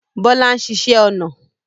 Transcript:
Bọlá ń ṣiṣẹ́ ọnà